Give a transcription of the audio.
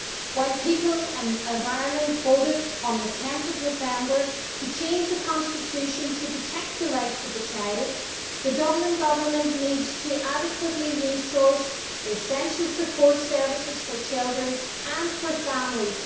While the people of Ireland voted on 10 November to change the constitution so as to protect the rights of the child, the Dublin Government needs to adequately resource the essential support services for children and for families.